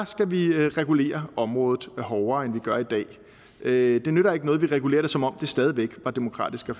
skal vi regulere området hårdere end vi gør i dag det nytter ikke noget at vi regulerer det som om det stadig væk var demokratisk og